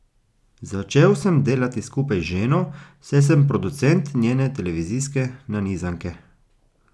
Začel sem delati skupaj z ženo, saj sem producent njene televizijske nanizanke.